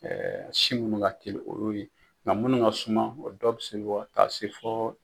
sin minnu ka teli o y'o ye nka minnu ka suma o dɔw bɛ se ka taa se fɔ